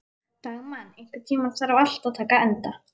Dagmann, einhvern tímann þarf allt að taka enda.